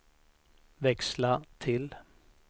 växla till